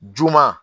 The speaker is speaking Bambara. Juman